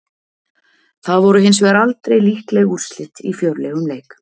Það voru hins vegar aldrei líkleg úrslit í fjörlegum leik.